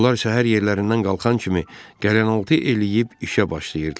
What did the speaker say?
Onlar səhər yerlərindən qalxan kimi qəlyanaltı eləyib işə başlayırdılar.